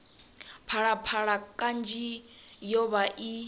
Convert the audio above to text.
phalaphala kanzhi yo vha i